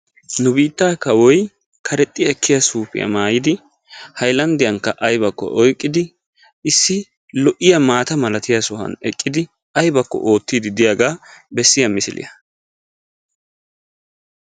Nu biittaa kawoyi karexxi ekkiya suufiya maayidi haylanddiyankka aybakko oyqqidi issi lo'iya maata malatiya sohuwan eqqidi aybakko oottiiddi diyagaa bessiya misiliya.